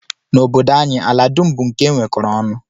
N'obodo anyị, ala dum bụ nke e nwekọrọ ọnụ